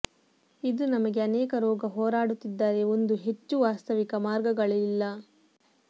ಇದು ನಮಗೆ ಅನೇಕ ರೋಗ ಹೋರಾಡುತ್ತಿದ್ದಾರೆ ಒಂದು ಹೆಚ್ಚು ವಾಸ್ತವಿಕ ಮಾರ್ಗಗಳಿಲ್ಲ